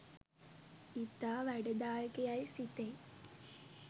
ඉතා වැඩදායක යැයි සිතෙයි.